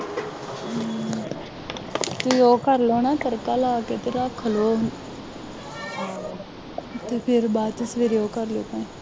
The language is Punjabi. ਹੂੰ ਤੂੰ ਉਹ ਕਰ ਲੈ ਨਾ ਤੜਕਾ ਲਾ ਕੇ ਤੇ ਰੱਖ ਲਉ ਅਤੇ ਫਿਰ ਬਾਅਦ ਚ ਸਵੇਰੇ ਉਹ ਕਰ ਲਿਉ ਕੰਮ